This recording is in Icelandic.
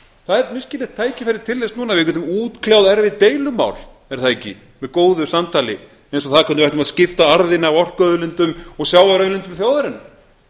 það er virkilega tækifæra til þess núna við getum útkljáð erfið deilumál er það ekki með góðu samtali eins og það hvernig við ætlum að skipta arðinum af orkuauðlindum og sjávarauðlindum þjóðarinnar